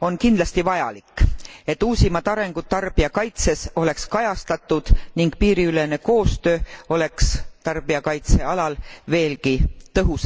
on kindlasti vajalik, et uusimad arengud tarbijakaitses oleks kajastatud ning piiriülene koostöö oleks tarbijakaitse alal veelgi tõhusam ja efektiivsem.